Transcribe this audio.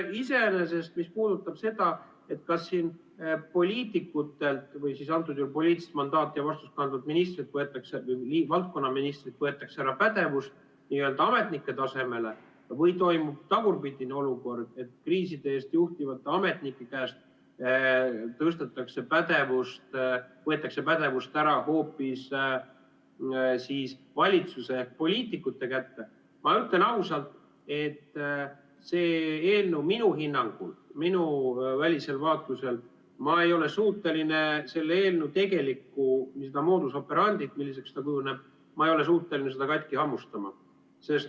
Iseenesest, mis puudutab seda, kas poliitikutelt või siis antud juhul poliitilist mandaati ja vastutust kandvalt ministrilt, valdkonnaministrilt võetakse ära pädevus n‑ö ametnike tasemele või toimub tagurpidine olukord, et kriiside juhtimise eest vastutavate ametnike käest antakse pädevust ära hoopis valitsuse ehk poliitikute kätte – ma ütlen ausalt, et minu hinnangul ja välisel vaatlusel selle eelnõu tegelikku modus operandi't, milliseks ta kujuneb, ma ei ole suuteline katki hammustama.